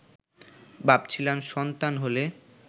ভাবছিলাম সন্তান হলে